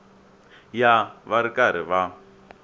ya va ri karhi va